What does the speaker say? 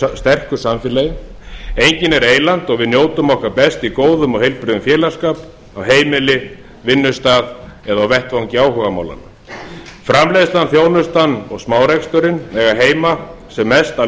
sterku samfélag enginn er eyland og við njótum okkar best í góðum og heilbrigðum félagsskap á heimili vinnustað eða vettvangi áhugamálanna framleiðslan þjónustan og smáreksturinn eiga heima sem mest að